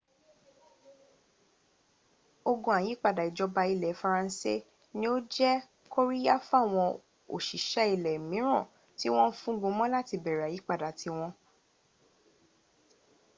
ogun àyípadà ìjọba ní ilẹ̀ faransé ní ó jẹ́ kóríyá fáwọn òsìṣẹ́ ilẹ̀ míràn tí wọ́n ń fúngun mọ́ láti bẹ̀rẹ̀ àyípadà ti wọn